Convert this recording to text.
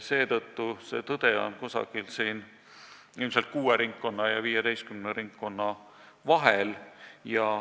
Seetõttu on tõde ilmselt kuue ja 15 ringkonna vahel.